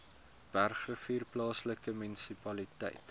bergrivier plaaslike munisipaliteit